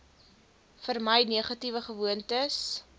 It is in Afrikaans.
vermy negatiewe gewoontes